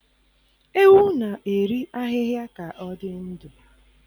Ewu na-eri ahịhịa ka ọ dị ndụ.